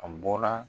A bɔra